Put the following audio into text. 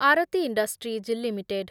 Aarti Industries limited